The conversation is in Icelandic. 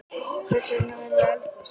Hvers vegna verður eldgos?